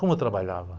Como eu trabalhava